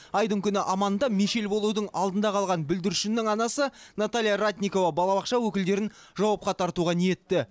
айдың күні аманында мешел болудың алдында қалған бүлдіршіннің анасы наталья ратникова балабақша өкілдерін жауапқа тартуға ниетті